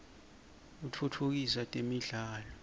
kitfutfukisa temidlalo